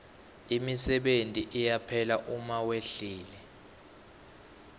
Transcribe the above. imisebenti iyaphela uma wehlile